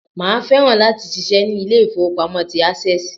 Màá fẹ́ràn láti ṣiṣẹ́ ní Ilé ìfowópamọ́ tí Access